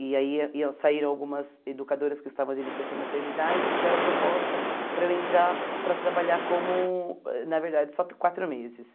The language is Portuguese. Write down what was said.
E aí iam saíram algumas educadoras que estavam de licença maternidade e fizeram a proposta para eu entrar para trabalhar como, na verdade, só quatro meses.